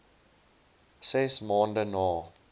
ses maande na